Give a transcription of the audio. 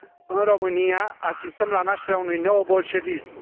În România asistăm la nașterea unui neo bolșevism.